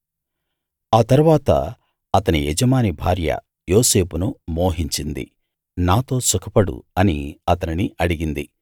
ఆ తరువాత అతని యజమాని భార్య యోసేపును మోహించింది నాతో సుఖపడు అని అతనిని అడిగింది